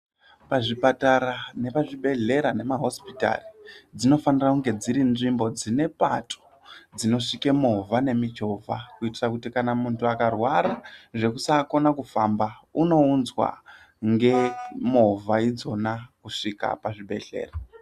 Pazvipatara nepazvibhedhlera nemahosipitari dzinofanira kunge dziri nzvimbo dzine pato dzinosvike movha nemuchovha kuitire kuti kana munhu akarwara zvekusaakone kufamba unounzwa nhemovha idzona kusvika pazvibhedhlera.